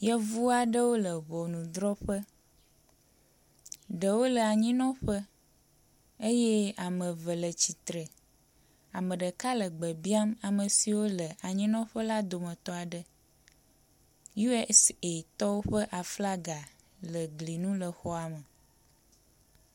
Yevu aɖewo le ŋɔnudrɔƒe. Ɖewo le anyinɔƒe eye ame eve le atsitre, ame ɖeka le gbe biam ame siwo le anyinɔƒe la dometɔ aɖe. USAtɔwo ƒe aflaga le gli nu le xɔa me.